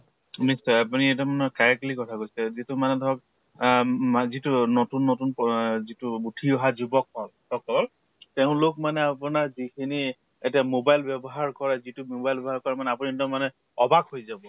নিশ্চয় আপুনি correctly কথা কৈছে যিটো মানে ধৰক আহ মা যিটো নতুন নতুন যিটো উঠি অহা যুৱক কল সকল তেওঁলোক মানে আপোনাৰ যিখিনি এতিয়া mobile ব্য়ৱহাৰ কৰে যিটো mobile ব্য়ৱহাৰ কৰে আপুনি এক্দম মানে অবাক হৈ যাব।